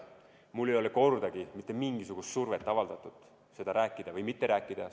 Mulle ei ole kordagi mitte mingisugust survet avaldatud, et sellest või teistest rääkida või mitte rääkida.